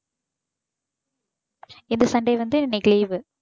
இந்த sunday வந்து இன்னைக்கு leave